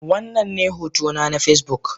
Wannan ne hotona na Facebook.